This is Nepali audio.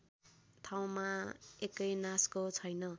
ठाउँमा एकैनासको छैन